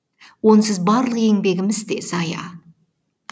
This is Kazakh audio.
онсыз барлық еңбегіміз де зая